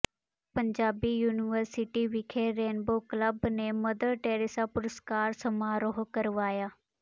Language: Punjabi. ਪੰਜਾਬੀ ਯੂਨੀਵਰਸਿਟੀ ਵਿਖੇ ਰੇਨਬੋ ਕਲੱਬ ਨੇ ਮਦਰ ਟੈਰੇਸਾ ਪੁਰਸਕਾਰ ਸਮਾਰੋਹ ਕਰਵਾਇਆ